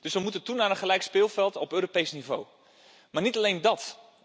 We moeten dus toe naar een gelijk speelveld op Europees niveau, maar niet alleen dat.